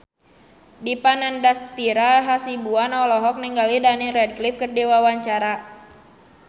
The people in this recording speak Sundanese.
Dipa Nandastyra Hasibuan olohok ningali Daniel Radcliffe keur diwawancara